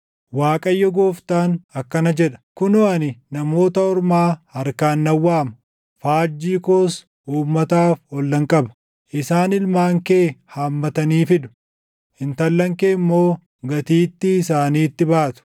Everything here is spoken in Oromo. Waaqayyo Gooftaan akkana jedha: “Kunoo ani namoota ormaa harkaan nan waama; faajjii koos uummataaf ol nan qaba; isaan ilmaan kee hammatanii fidu; intallan kee immoo gatiittii isaaniitti baatu.